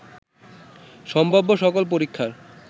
সম্ভাব্য সকল পরীক্ষার